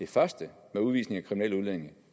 første om udvisning af kriminelle udlændinge